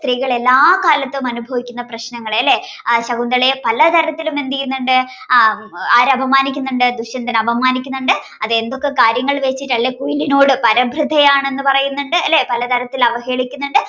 സ്ത്രീകൾ എല്ലാകാലത്തും അനുഭവിക്കുന്ന പ്രശ്നങ്ങളെ അല്ലേ ആ ശകുന്തളയെ പലതരത്തിലും എന്തെയ്യുന്നുണ്ട് ആഹ് ആരപമാനിക്കുന്നുണ്ട് ദുഷ്യന്തൻ അപമാനിക്കുന്നുണ്ട്. അത് എന്തൊക്കെ കാര്യങ്ങൾ വെച്ചിട്ടല്ലേ കുയിലിനോട് പരഭ്രതയാണെന്ന് പറയുന്നുണ്ട് അല്ലേ? പലതരത്തിൽ അവഹേളിക്കുന്നുണ്ട്